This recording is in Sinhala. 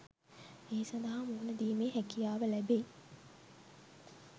ඒ සඳහා මුහුණ දීමේ හැකියාව ලැබෙයි.